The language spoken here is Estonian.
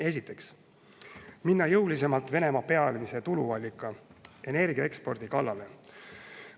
Esiteks, minna jõulisemalt Venemaa peamise tuluallika, energiaekspordi kallale.